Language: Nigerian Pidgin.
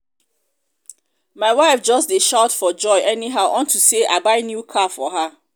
my wife just dey shout for joy anyhow unto say i buy new car for her